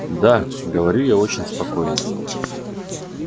да говорю я очень спокойно